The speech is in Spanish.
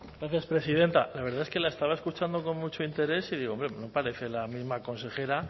gracias presidenta la verdad es que la estaba escuchando con mucho interés y digo hombre no parece la misma consejera